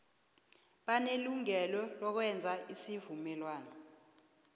banelungelo lokwenza isivumelwano